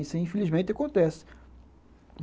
Isso, infelizmente, acontece.